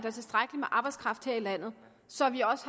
er tilstrækkelig med arbejdskraft her i landet så vi også